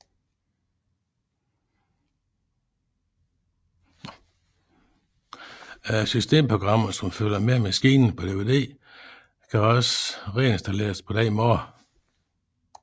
Systemprogrammet som følger med maskinen på DVD kan også reinstalleres på denne måde